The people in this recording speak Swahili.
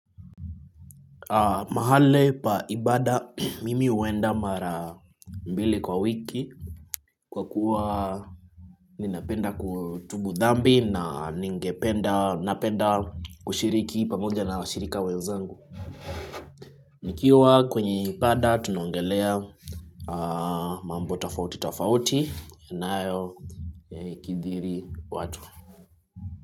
Mahali pa ibada mimi huenda mara mbili kwa wiki kwa kuwa nina penda kutubu dambi na ningependa kushiriki pamoja na washirika wenzangu. Nikiwa kwenye ibada tunaongelea mambo tafauti tafauti inayokidiri watu.